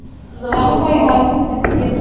ਚਲ ਕੋਈ ਗੱਲ ਨਹੀਂ ਫਿਰ ਕੀ ਆ।